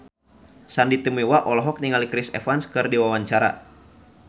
Sandy Tumiwa olohok ningali Chris Evans keur diwawancara